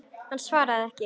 Hann svaraði ekki.